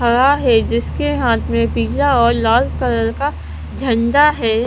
है जिसके हाथ में पीला और लाल कलर का झंदा है।